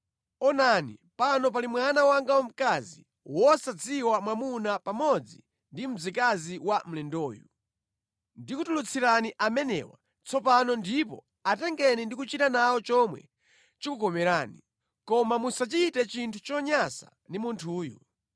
Onani, pano pali mwana wanga wamkazi wosadziwa mwamuna pamodzi ndi mzikazi wa mlendoyu. Ndikutulutsirani amenewa tsopano ndipo atengeni ndi kuchita nawo chomwe chikukomerani. Koma musachite chinthu chonyansa ndi munthuyu.”